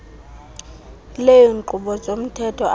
leenkqubo zomthetho afake